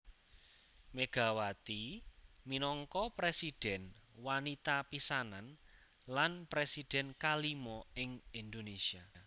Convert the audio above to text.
Megawati minangka presidhèn wanita pisanan lan presidhèn kalima ing Indonésia